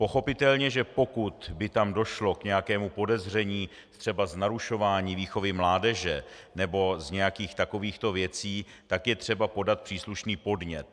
Pochopitelně pokud by tam došlo k nějakému podezření třeba z narušování výchovy mládeže nebo z nějakých takových to věcí, tak je třeba podat příslušný podnět.